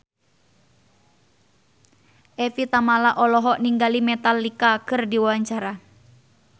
Evie Tamala olohok ningali Metallica keur diwawancara